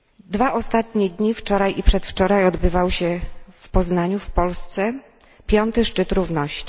Dwa ostatnie dni, wczoraj i przedwczoraj, odbywał się w Poznaniu w Polsce V Szczyt Równości.